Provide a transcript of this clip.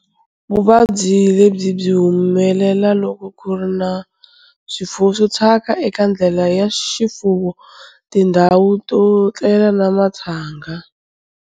Vuvabyi lebyi byi humelela loko ku ri na swiyimo swo thyaka eka ndlela ya xifuwo, tindhawu to tlela na matshanga.